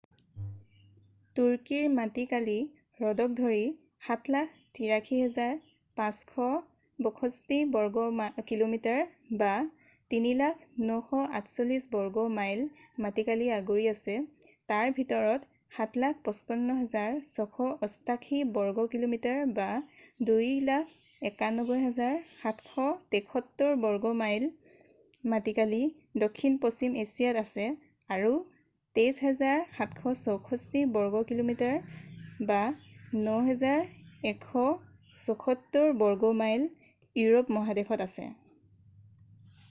তুৰ্কীৰ মাটিকালি হ্ৰদক ধৰি ৭৮৩,৫৬২ বৰ্গ কিলোমিটাৰ ৩০০,৯৪৮ বৰ্গ মাইল মাটিকালি আগুৰি আছে তাৰ ভিতৰত ৭৫৫,৬৮৮ বৰ্গ কিলোমিটাৰ ২৯১,৭৭৩ বৰ্গ মাইল মাটিকালি দক্ষিণ পশ্চিম এছিয়াত আছে আৰু ২৩,৭৬৪ বৰ্গ কিলোমিটাৰ ৯,১৭৪ বৰ্গ মাইল ইউৰোপ মহাদেশত আছে।